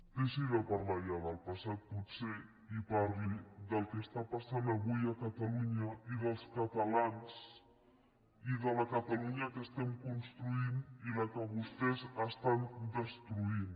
deixi de parlar ja del passat potser i parli del que passa avui a catalunya i dels catalans i de la catalunya que estem construint i la que vostès estan destruint